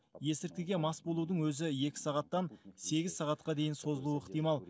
есірткіге мас болудың өзі екі сағаттан сегіз сағатқа дейін созылуы ықтимал